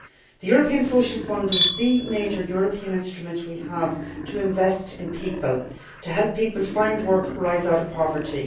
The European Social Fund is the major European instrument we have for investing in people to help people find work and rise out of poverty.